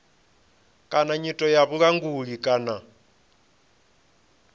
kana nyito ya vhulanguli kana